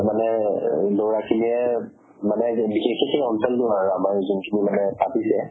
মানে low আছিলে মানে বিশেষ খিনি আমাৰ জোন খিনি মানে পাতিছে